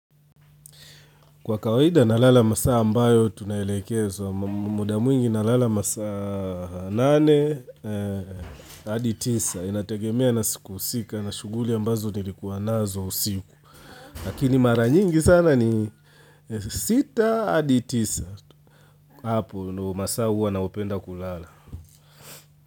Kwa kawaida nalala masaa ambayo tunaelekezwa, muda mwingi nalala masaa nane, hadi tisa, inategemea na siku husika na shughuli ambazo nilikuwa nazo usiku. Lakini mara nyingi sana ni sita, hadi tisa, hapo ndio masaa huwa naopenda kulala.